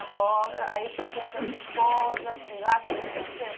Na roça, aí o senhor conheceu a sua esposa, foi lá que o senhor conheceu?